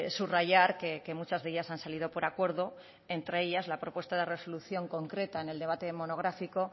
subrayar que muchas de ellas han salido por acuerdo entre ellas la propuesta de resolución concreta en el debate monográfico